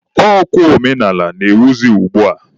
Ọ kwa omenaala na-ewuzi ugbua.